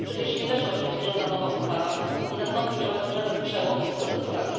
Przecież nie weszła w życie żadna nowa ustawa, nie nastąpił żaden przełom w procedurach.